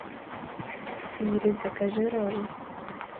сири закажи роллы